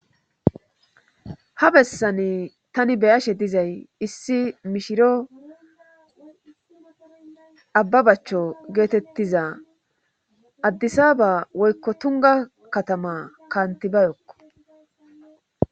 ha bessani tani beyashe dizay issi mishiro abba bachcho geetettiza addisa ba woykko tunga katama kaantibayokko